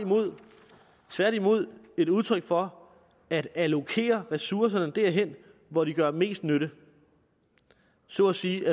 tværtimod et udtryk for at allokere ressourcerne derhen hvor de gør mest nytte så at sige